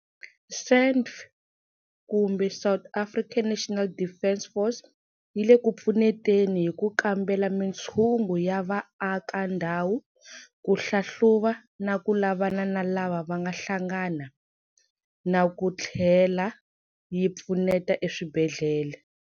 SANDF yi le ku pfuneteni hi ku kambela mitshungu ya vaaka ndhawu, ku hlahluva na ku lavana na lava nga hlangana, na ku tlhela yi pfuneta eswibedhlele.